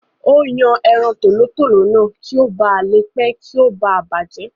Ó yan ẹran tòlótòló náà kí o ba à le pẹ̀ kí o ba à bàjẹ́